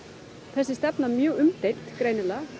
þessi stefna mjög umdeild greinilega